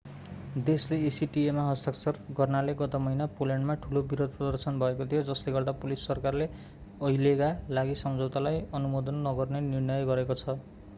देशले acta मा हस्ताक्षर गर्नाले गत महिना पोल्यान्डमा ठूलो विरोध प्रदर्शन भएको थियो जसले गर्दा पोलिस सरकारले अहिलेका लागि सम्झौतालाई अनुमोदन नगर्ने निर्णय गरेको थियो